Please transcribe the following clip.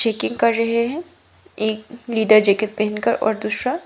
checking कर रहे हैं एक लेदर जैकेट पहनकर और दूसरा--